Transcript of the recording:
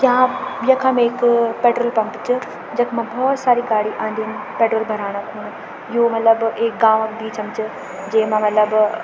यखम एक petrol pump च जखमा भोत सारी गाडी आदीन पेट्रोल भराण खुण यो मलब एक गाँव क बीच म च जेमा मलब --